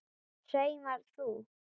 Saumar þú?